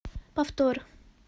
повтор